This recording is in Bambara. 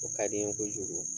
O ka di n ye kojugu